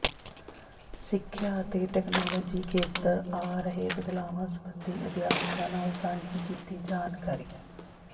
ਸਿੱਖਿਆ ਅਤੇ ਟੈਕਨਾਲੋਜੀ ਖੇਤਰ ਆ ਰਹੇ ਬਦਲਾਵਾਂ ਸਬੰਧੀ ਅਧਿਆਪਕਾਂ ਨਾਲ ਸਾਂਝੀ ਕੀਤੀ ਜਾਣਕਾਰੀ